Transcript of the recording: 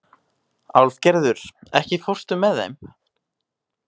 Álfgerður, ekki fórstu með þeim?